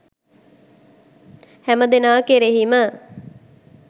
හැමදෙනා කෙරෙහිම